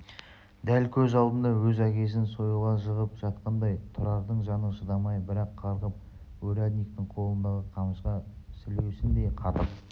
дәл көз алдында өз әкесін сойылға жығып жатқандай тұрардың жаны шыдамай бір-ақ қарғып урядниктің қолындағы қамшыға сілеусіндей қатып